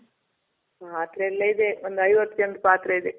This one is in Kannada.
ಪಾತ್ರೆ ಎಲ್ಲ ಇದೆ. ಒಂದ್ ಐವತ್ ಜನದ್ ಪಾತ್ರೆ ಇದೆ.